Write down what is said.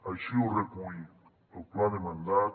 així ho recull el pla de mandat